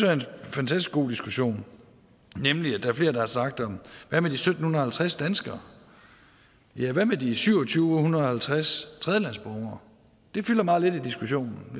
fantastisk god diskussion nemlig at flere har sagt hvad med de sytten halvtreds danskere ja hvad med de syvogtyvetusinde og halvtreds tredjelandsborgere de fylder meget lidt i diskussionen